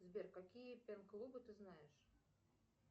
сбер какие пен клубы ты знаешь